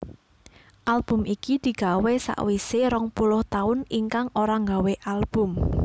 Album iki digawé sawisé rong puluh taun Ikang ora nggawé Album